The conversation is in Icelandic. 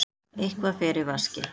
Eitthvað fer í vaskinn